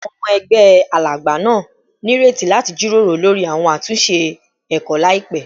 Awọn ọmọ ẹgbẹ Alagba naa nireti lati jiroro lori awọn atunṣe ẹkọ laipẹ